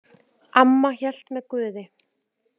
Amma hélt með Guði.